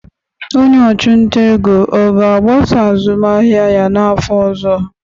Onye ọchụnta ego ọ ga-agbasa azụmahịa ya n'afọ ọzọ?